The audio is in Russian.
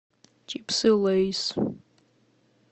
чипсы лейс